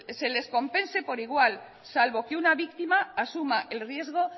se les compensen por igual salvo que una víctima asuma el riesgo